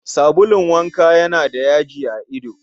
Sabulun wanka yana da yaji a ido